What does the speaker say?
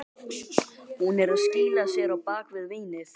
Hún er að skýla sér á bak við vínið.